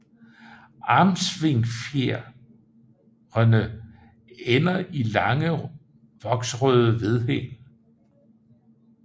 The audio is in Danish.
Armsvingfjerene ender i lange voksrøde vedhæng